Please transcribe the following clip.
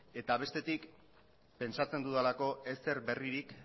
eta bestetik pentsatzen dudalako ezer berririk